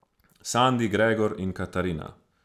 Sandi, Gregor in Katarina.